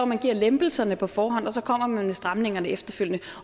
man giver lempelserne på forhånd og så kommer man med stramningerne efterfølgende